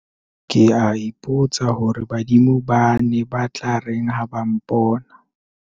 ke a ipotsa hore badimo ba ne ba tla reng ha ba mpona